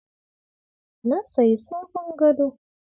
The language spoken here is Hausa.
Na sayi sabon gado.